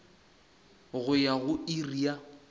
go ya go iri ya